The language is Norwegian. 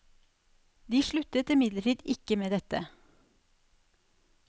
De sluttet imidlertid ikke med dette.